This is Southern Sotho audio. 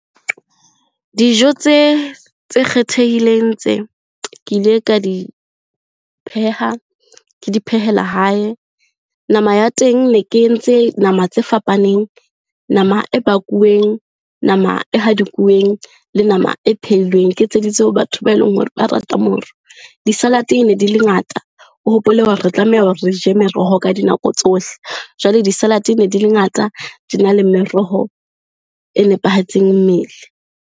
Dijo tse kgethehileng tse, ke ile ka di pheha ke di phehela hae. Nama ya teng ne ke entse nama tse fapaneng, nama e bakuweng, nama e hadikuweng, le nama e pheilweng. Ke etseditse ho batho ba eleng hore ba rata moro. Di-salad ne di le ngata, o hopole hore re tlameha hore re je meroho ka dinako tsohle. Jwale di-salad-e ne di le ngata, di na le meroho e nepahetseng mmele.